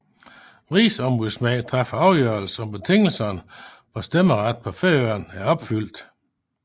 Rigsombudsmanden træffer afgørelse om betingelserne for stemmeret på Færøerne er opfyldt